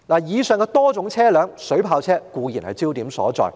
在上述多種車輛中，水炮車固然是焦點所在。